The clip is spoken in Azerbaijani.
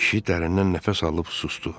Kişi dərindən nəfəs alıb susdu.